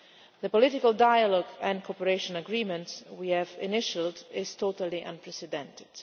The political dialogue and cooperation agreement we have initialled is totally unprecedented.